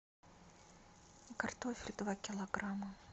картофель два килограмма